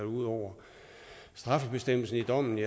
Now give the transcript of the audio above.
ud over straffebestemmelsen i dommen